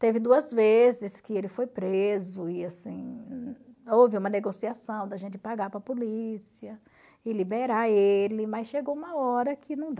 teve duas vezes que ele foi preso e assim houve uma negociação da gente pagar para a polícia e liberar ele mas chegou uma hora que não dá